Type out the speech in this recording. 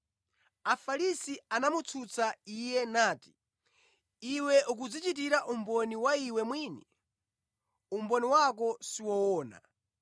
Afarisi anamutsutsa Iye nati, “Iwe ukudzichitira umboni wa Iwe mwini, umboni wako siwoona.”